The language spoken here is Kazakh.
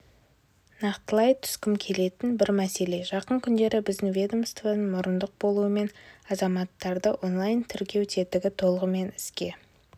нақтылай түскім келетін бір мәселе жақын күндері біздің ведомствоның мұрындық болуымен азаматтарды онлайн-тіркеу тетігі толығымен іске